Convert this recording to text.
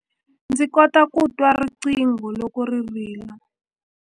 Ndzi kota ku twa riqingho loko ri rila.